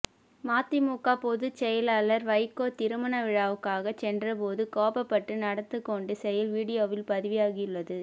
மதிமுக பொதுச் செயலாளர் வைகோ திருமண விழாவுக்காக சென்ற போது கோபப்பட்டு நடத்துகொண்ட செயல் வீடியோவில் பதிவாகியுள்ளது